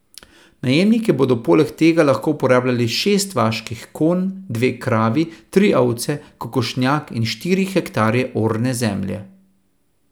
Najemniki bodo poleg tega lahko uporabljali šest vaških konj, dve kravi, tri ovce, kokošnjak in štiri hektarje orne zemlje.